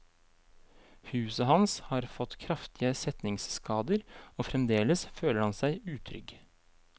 Huset hans har fått kraftige setningsskader, og fremdels føler han seg utrygg.